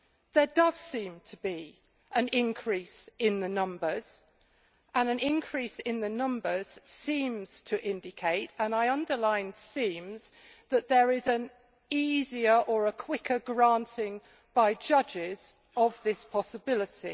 There does seem to be an increase in the numbers and an increase in the numbers seems to indicate, and I underline seems', that there is an easier or a quicker granting by judges of this possibility.